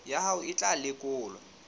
ya hao e tla lekolwa